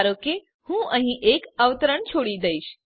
ધારોકે હું અહીં એક અવતરણ છોડી દઈશ